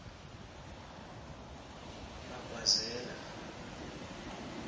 bagwazela